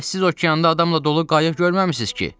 Bəs siz okeanda adamla dolu qayıq görməmisiniz ki?